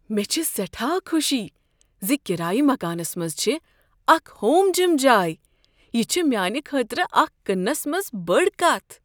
مےٚ چھےٚ سیٹھا خوشی زِ کرایہ مکانس منٛز چھےٚ اکھ ہوم جم جاے، یہ چھ میٛانہ خٲطرٕ اکھ کننس منز بٔڈ کتھ